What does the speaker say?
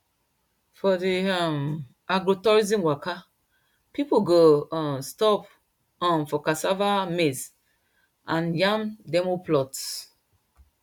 for the um agrotourism waka people go um stop um for cassava maize and yam demo plots